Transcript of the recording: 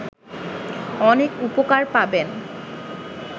অনেক উপকার পাবেন